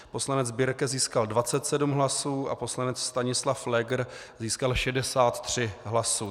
Poslanec Birke získal 27 hlasů a poslanec Stanislav Pfleger získal 63 hlasy.